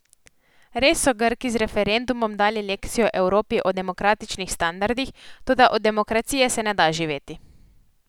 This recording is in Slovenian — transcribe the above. Res so Grki z referendumom dali lekcijo Evropi o demokratičnih standardih, toda od demokracije se ne da živeti.